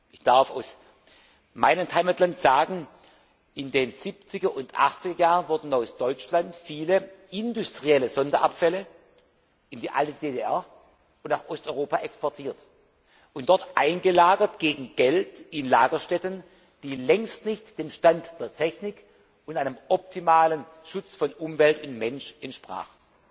sein. Ich darf aus meinem Heimatland sagen, in den Siebziger und Achtziger Jahren wurden aus Deutschland viele industrielle Sonderabfälle in die alte DDR und nach Osteuropa exportiert und dort gegen Geld in Lagerstätten eingelagert, die längst nicht dem Stand der Technik und einem optimalen Schutz von Umwelt und Mensch entsprachen.